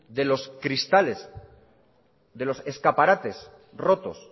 de los cristales de los escaparates rotos